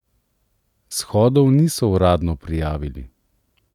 Shodov niso uradno prijavili.